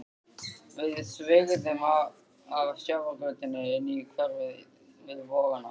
Við sveigðum af sjávargötunni inn í hverfið við Vogana.